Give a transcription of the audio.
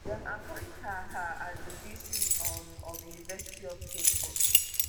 dem appoint her her as di vc um of university of cape coast